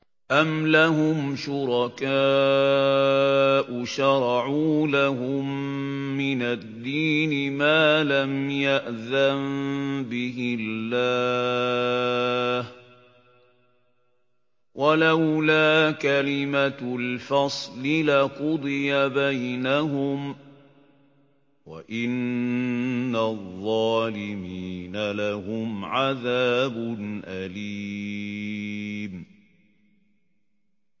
أَمْ لَهُمْ شُرَكَاءُ شَرَعُوا لَهُم مِّنَ الدِّينِ مَا لَمْ يَأْذَن بِهِ اللَّهُ ۚ وَلَوْلَا كَلِمَةُ الْفَصْلِ لَقُضِيَ بَيْنَهُمْ ۗ وَإِنَّ الظَّالِمِينَ لَهُمْ عَذَابٌ أَلِيمٌ